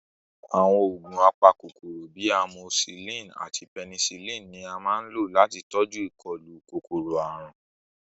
Àwọn oògùn apakòkòrò bíi amosílìn àti pẹnisílìn ni a máa ń lò láti tọjú ìkọlù kòkòrò-àrùn